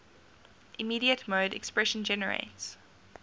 immediate mode expression generates